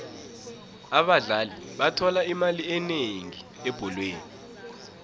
abadlali bathola imali enengi ebholweni